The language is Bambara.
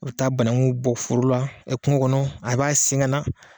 U bɛ taa banakun bɔ foro la kungo kɔnɔ a b'a sen na